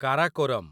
Karakoram